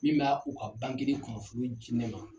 Min ba u ka de kunnafoni di ne ma.